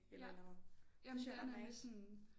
Eller et eller andet det synes jeg er ret nice